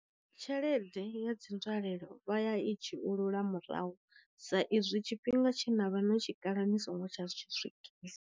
Tshelede ya dzi nzwalelo vha ya i dzhiulula murahu sa izwi tshifhinga tshe navha no tshi kala ni songo tsha swikisa.